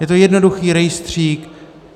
Je to jednoduchý rejstřík.